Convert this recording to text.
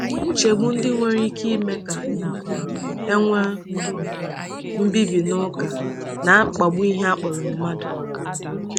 Nchegbu ndị nwere ike ime ka um e nwee um mbibi nuklia na-akpagbu ihe a kpọrọ mmadụ.